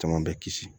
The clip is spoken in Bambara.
Caman bɛ kisi